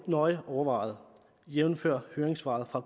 nøje overvejet jævnfør høringssvaret fra